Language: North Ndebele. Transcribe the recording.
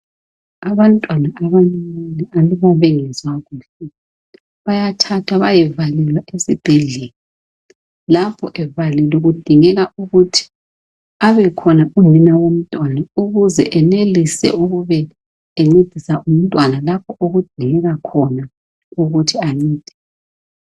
Abantwana abacinyane aluba bengezwakuhle bayathathwa beyevalelwa esibhedlela lapho evalelwe kudingeka ukuthi abekhona unina womntwana ukuze enelise ukube encedisa umntwana okudingeka khona ukuthi ancedise.